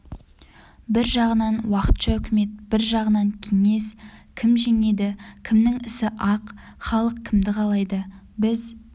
бір жағынан уақытша үкімет бір жағынан кеңес кім жеңеді кімнің ісі ақ халық кімді қалайды біз